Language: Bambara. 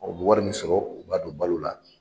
Ɔ o bɛ wari min sɔrɔ u b'a don balo la.